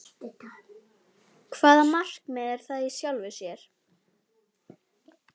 Hvaða markmið er það í sjálfu sér?